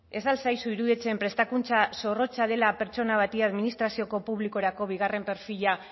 ez al zaizu iruditzen prestakuntza zorrotza dela pertsona bati administrazioko publikorako bigarren perfila